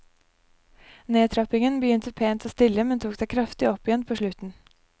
Nedtrappingen begynte pent og stille, men tok seg kraftig opp igjen på slutten.